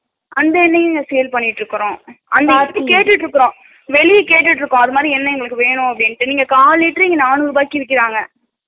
அந்த எண்ணையும் sale பண்ணிட்டு இருக்குறோ கேட்டிடு இருக்கோ வெளில கேட்டிடு இருக்கோ அது மாறி எண்ணை வேணு அப்பிடின்ட்டு இங்க கால் லிட்டர் நானுருபாக்கு விட்டிட்டு இருக்காங்க